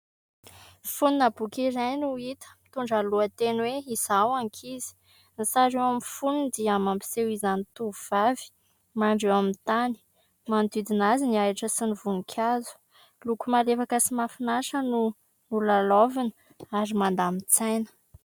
Fonina boky iray no hita, mitondra ny lohateny hoe : "Izaho ankizy". Ny sary eo amin'ny foniny dia mampiseho izany tovovavy mandry eo amin'ny tany. Manodidina azy ny ahitra sy ny voninkazo. Loko malefaka sy mahafinaritra no nolalaovina ary mandamin-tsaina.